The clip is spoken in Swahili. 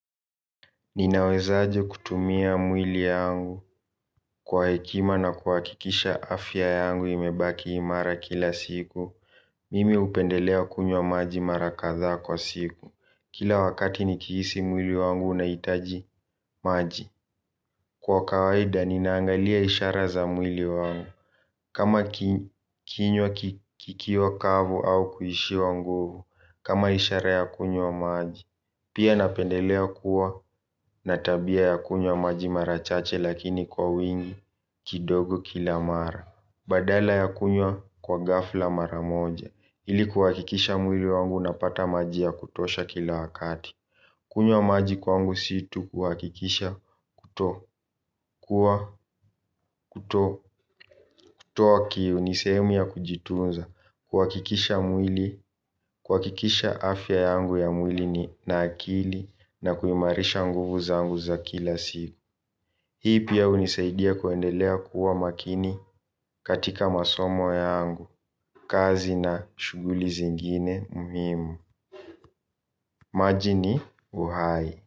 Ninaweza aje kutumia mwili yangu kwa hekima na kuhakikisha afya yangu imebaki imara kila siku. Mimi hupendelea kunywa maji mara kadhaa kwa siku. Kila wakati nikihisi mwili wangu unahitaji maji. Kwa kawaida, ninaangalia ishara za mwili wangu. Kama kinywa kikiwa kavu au kuishiwa nguvu. Kama isharaya kunyo maji. Pia napendelea kuwa na tabia ya kunywa maji mara chache lakini kwa wingi kidogo kila mara. Badala ya kunywa kwa ghafla mara moja ili kuhakikisha mwili wangu na pata maji ya kutosha kila wakati. Kunywa maji kwangu situ kuhakikisha kutoa kwa kutoa kii unisemi ya kujitunza kuhakikisha mwili kuhakikisha afya yangu ya mwili ni nakili na kuimarisha nguvu zangu za kila siku. Hii pia hunisaidia kuendelea kuwa makini katika masomo yangu kazi na shughuli zingine muhimu. Maji ni uhai.